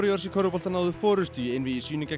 körfubolta náðu forystu í einvígi sínu gegn